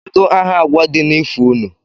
Kedu aha agwa di n'ifo unu?